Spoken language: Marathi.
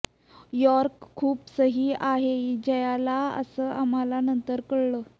यॉर्क खूप सही आहे जायला असं आम्हाला नंतर कळलं